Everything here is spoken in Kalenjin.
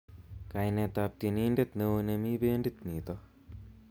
Kainetab tienindet neo nemi bendit nito